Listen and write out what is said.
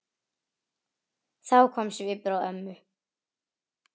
Þá kom svipur á ömmu.